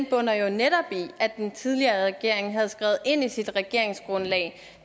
bunder jo netop i at den tidligere regering havde skrevet ind i sit regeringsgrundlag